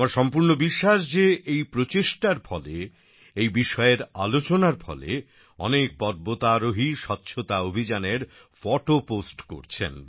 আমার সম্পূর্ণ বিশ্বাস যে এই প্রচেষ্টার ফলে এই বিষয়ের আলোচনার ফলে অনেক পর্বতারোহী স্বচ্ছতা অভিযানের ফটো পোস্ট করছেন